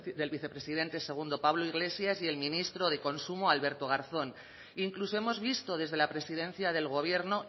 del vicepresidente segundo pablo iglesias y el ministro de consumo alberto garzón incluso hemos visto desde la presidencia del gobierno